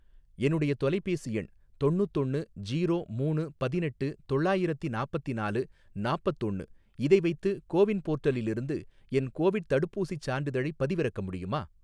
என்னுடைய தொலைபேசி எண் தொண்ணூத்தொன்னு ஜீரோ மூணு பதினெட்டு தொள்ளாயிரத்தி நாப்பத்திநாலு நாப்பத்தொன்னு, இதை வைத்து கோவின் போர்ட்டலிலிருந்து என் கோவிட் தடுப்பூசிச் சான்றிதழைப் பதிவிறக்க முடியுமா?